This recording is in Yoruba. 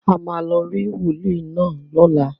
A máa lọ rí wòólì náà lọ́la.